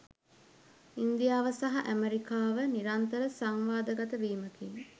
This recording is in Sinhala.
ඉන්දියාව සහ ඇමරිකාව නිරන්තර සංවාදගත වීමකින්